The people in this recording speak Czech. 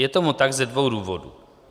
Je tomu tak ze dvou důvodů.